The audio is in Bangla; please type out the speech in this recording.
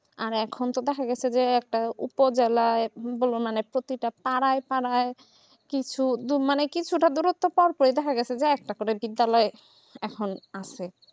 আর এখন তো দেখা যাচ্ছে যে একটা উচ্চ জেলা তা পাড়ায় পাড়ায় কিছুদিন মানে কিছুটা দিনের দিনের মধ্যে দেখা যাচ্ছে আটটা করে বিদ্যালয় এখন আছে